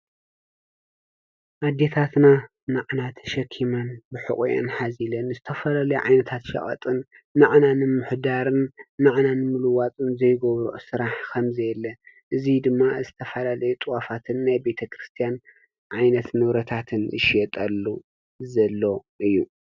ኣዴታትና ናዓና ተሸኪመን ብሕቊኤን ሓዚለን ዝተፈላለዩ ዓይነታት ሸቀጣትን ንዓና ንምምሕዳር፣ ንዓና ንምልዋጥን ዘይገብረኦ ስራሕ ከምዘየለ፣ እዚ ድማ ዝተፈላለዩ ጥዋፋትን ናይ ቤተክርስትያን ዓይነት ንብረታት ዝሽየጠሉ ዘሎ እዩ፡፡